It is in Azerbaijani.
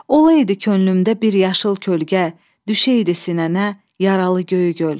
Olaydı könlümdə bir yaşıl kölgə, düşəydi sinənə yaralı Göygöl.